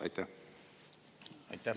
Aitäh!